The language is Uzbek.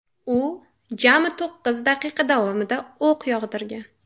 U jami to‘qqiz daqiqa davomida o‘q yog‘dirgan.